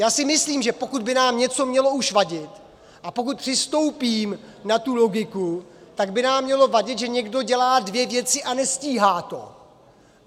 Já si myslím, že pokud by nám něco mělo už vadit a pokud přistoupím na tuto logiku, tak by nám mělo vadit, že někdo dělá dvě věci a nestíhá to.